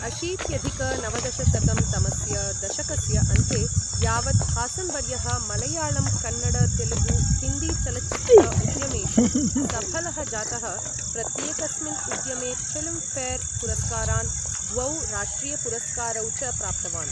अशीत्यधिक नवदशशतं तमस्य दशकस्य अन्ते, यावत् हासन् वर्यः मलयाळम् कन्नड तेलुगु हिन्दीचलच्चित्र उद्यमेषु सफलः जातः, प्रत्येकस्मिन् उद्यमे फिल्म् फेर् पुरस्कारान्, द्वौ राष्ट्रियपुरस्कारौ च प्राप्तवान्।